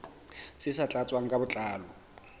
tse sa tlatswang ka botlalo